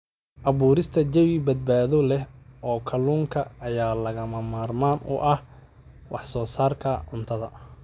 Abuurista jawi badbaado leh oo kalluunka ayaa lagama maarmaan u ah wax soo saarka cuntada.